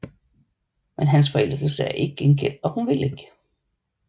Men hans forelskelse er ikke gengældt og hun vil ikke